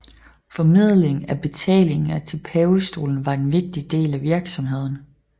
Formidling af betalinger til pavestolen var en vigtig del af virksomheden